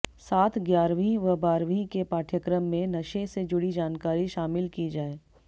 साथ ग्यारहवीं व बारहवीं के पाठ्यक्रम में नशे से जुड़ी जानकारी शामिल की जाये